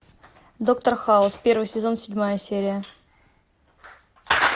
доктор хаус первый сезон седьмая серия